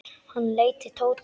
Hann leit til Tóta.